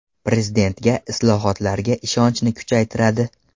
Prezidentga, islohotlarga ishonchni kuchaytiradi.